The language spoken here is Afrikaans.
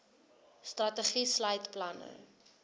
strategie sluit planne